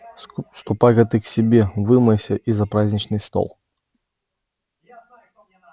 ступай-ка ты к себе вымойся и за праздничный стол